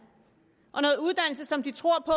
som de tror på